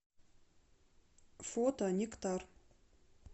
фото нектар